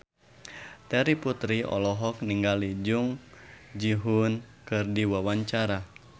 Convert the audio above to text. Terry Putri olohok ningali Jung Ji Hoon keur diwawancara